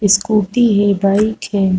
Scooty है bike है।